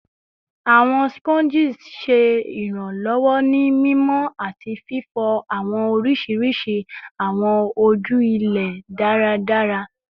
Awọn Sponges ṣe iranlọwọ ni mimọ ati fifọ awọn oriṣiriṣi awọn oju ilẹ daradara